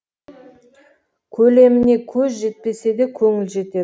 көлеміне көз жетпесе де көңіл жетеді